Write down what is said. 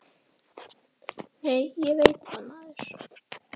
Nei, ég veit það, maður!